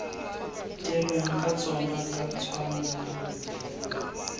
dirweng ka tsona ka tshwanno